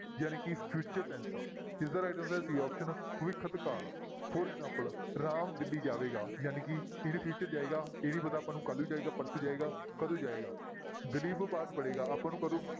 ਜਾਣੀ ਕਿ future tense ਆ ਇਸਦਾ right answer ਹੈ c option ਭਵਿੱਖਤ ਕਾਲ for example ਰਾਮ ਦਿੱਲੀ ਜਾਵੇਗਾ, ਜਾਣੀ ਕਿ ਕਿਹੜੇ future ਜਾਏਗੀ, ਇਹ ਨੀ ਪਤਾ ਆਪਾਂ ਨੂੰ ਕੱਲ੍ਹ ਨੂੰ ਜਾਏਗਾ, ਪਰਸੋਂ ਜਾਏਗਾ, ਕਦੋਂ ਜਾਏਗਾ ਦਲੀਪ ਪਾਠ ਪੜ੍ਹੇਗਾ ਆਪਾਂ ਨੂੰ ਕਦੋਂ